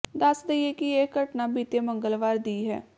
ਦੱਸ ਦੇਈਏ ਕਿ ਇਹ ਘਟਨਾ ਬੀਤੇ ਮੰਗਲਵਾਰ ਦੀ ਹੈ